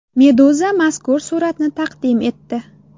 Meduza mazkur suratni taqdim etdi .